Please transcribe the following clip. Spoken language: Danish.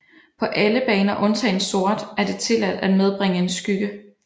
På alle baner undtagen sort er det tilladt at medbringe en skygge